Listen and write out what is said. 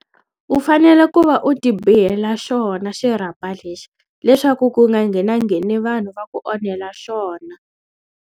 U fanele ku va u ti bihela xona xirhapa lexi leswaku ku nga nghena ngheni vanhu va ku onhela xona.